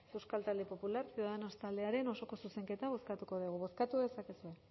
euskal talde popular ciudadanos taldearen osoko zuzenketa bozkatuko dugu bozkatu dezakegu